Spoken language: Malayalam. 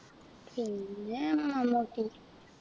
പിന്നെ മമ്മൂട്ടി